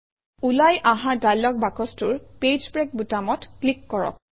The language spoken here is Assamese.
ওলাই অহা ডায়লগ বাকচটোৰ পেজ ব্ৰেক বুটামত ক্লিক কৰক